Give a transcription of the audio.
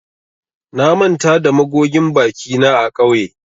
Na manta da magogin bakina a kauye